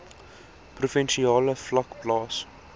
provinsiale vlak plaas